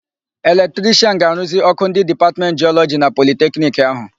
Eletrishịan ga-aruzi ọ́kụ́ ndị Dipatmentị Jịọlọji na Politekniki áhụ̀.